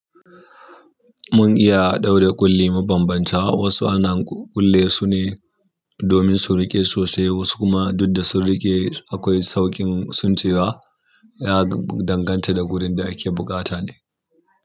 Mun iya ɗaure kulli mabanbanta wasu ana kulle su ne domin su riƙe sosai, wasu kuma duk da su riƙe akwai sauƙin tsincewa ya danganta da gurin da ake buƙata ne.